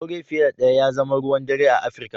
Aure fiye da ɗaya ya zama ruwan dare a Afirika.